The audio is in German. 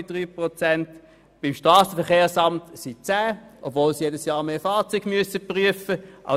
Beim Strassenverkehrsamt wären es deren 10, obwohl dieses jedes Jahr mehr Fahrzeuge prüfen muss.